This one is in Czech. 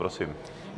Prosím.